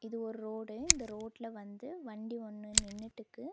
இது ஒரு ரோடு இந்த ரோட்ல வந்து வண்டி ஒன்னு நின்னுட்டுக்கு.